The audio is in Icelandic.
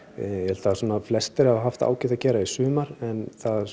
þar sem flestir hafa haft ágætt að gera í sumar en